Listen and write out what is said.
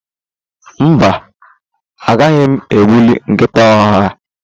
Mba, agaghi m egbuli nkịta ọhịa.